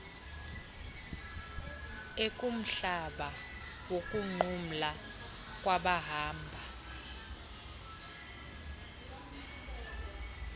ekumhlaba wokunqumla kwabahamba